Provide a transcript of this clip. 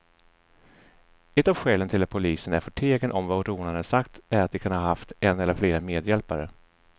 Ett av skälen till att polisen är förtegen om vad rånarna sagt är att de kan ha haft en eller flera medhjälpare.